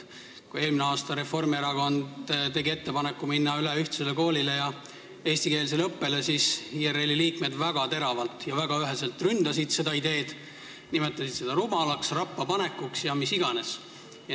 Kui eelmine aasta tegi Reformierakond ettepaneku minna üle ühtsele koolile ja eestikeelsele õppele, siis IRL-i liikmed väga teravalt ja üheselt ründasid seda ideed, nimetasid seda rumalaks, rappapanekuks ja milleks iganes.